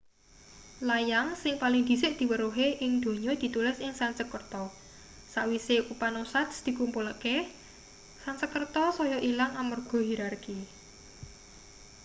layang sing paling dhisik diweruhi ing donya ditulis ing sansekerta sawise upanoshads diklumpukake sansekerta saya ilang amarga hirarki